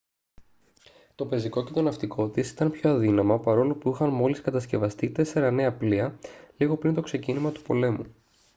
το πεζικό και το ναυτικό της ήταν πιο αδύναμα παρόλο που είχαν μόλις κατασκευαστεί τέσσερα νέα πλοία λίγο πριν το ξεκίνημα του πολέμου